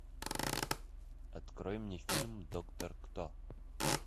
открой мне фильм доктор кто